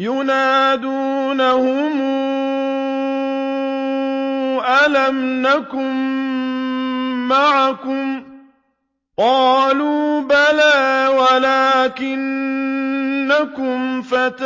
يُنَادُونَهُمْ أَلَمْ نَكُن مَّعَكُمْ ۖ قَالُوا بَلَىٰ وَلَٰكِنَّكُمْ فَتَنتُمْ